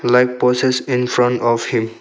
Like poses in front of him.